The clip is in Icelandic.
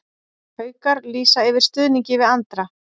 Haukar lýsa yfir stuðningi við Andra